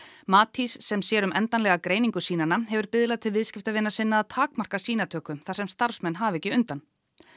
Matís sem sér um endanlega greiningu sýnanna hefur biðlað til viðskiptavina sinna að takmarka sýnatöku þar sem starfsmenn hafi ekki undan